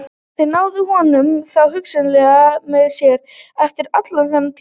Þeir náðu honum þá, hugsaði hann með sér, eftir allan þennan tíma.